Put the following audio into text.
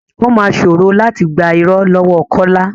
Ó máa ṣòro láti gbà irọ́ lọ́wọ kọ́lá.